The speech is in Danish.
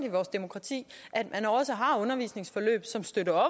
i vores demokrati også har undervisningsforløb som støtter